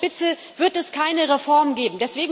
Mit ihm an der Spitze wird es keine Reform geben.